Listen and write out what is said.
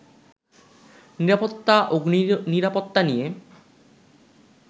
নিরাপত্তা, অগ্নিনিরাপত্তা নিয়ে